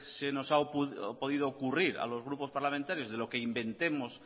se nos ha podido ocurrir a los grupos parlamentarios de lo que inventemos